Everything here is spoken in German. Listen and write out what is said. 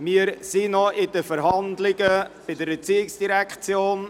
Wir befinden uns noch in den Verhandlungen zum Traktandum 59 der ERZ.